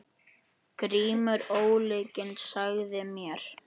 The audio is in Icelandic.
GRÍMUR: Ólyginn sagði mér.